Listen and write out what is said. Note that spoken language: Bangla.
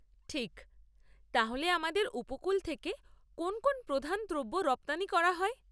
ঠিক। তাহলে আমাদের উপকূল থেকে কোন কোন প্রধান দ্রব্য রপ্তানি করা হয়?